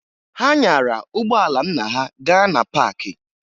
Ha nyara ụgbọala nna ha gaa na paakị